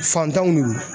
Fantanw de don